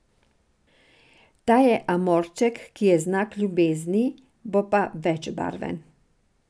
Ta je Amorček, ki je znak ljubezni, bo pa večbarven.